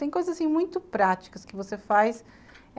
Tem coisas assim muito práticas que você faz.